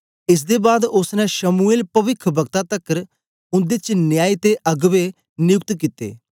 एस दे बाद ओसने शमूएल पविखवक्ता तकर उन्दे च न्यायी ते अगबें नयुक्त कित्ते